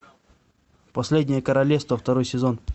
последнее королевство второй сезон